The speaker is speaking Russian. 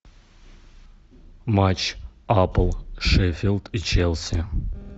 матч апл шеффилд и челси